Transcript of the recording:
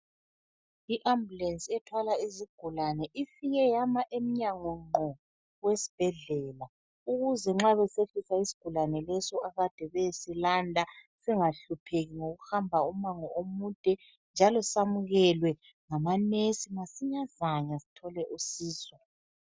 I-ambulensi ethwala izigulani ifike yama emnyango gqo wesibhedlela ukuze nxa kufikiswa isigulane leso akade beyesilanda singahlupheki ngokuhamba ummango omude njalo samukelwe ngamanesi masinyazana sithole usizo.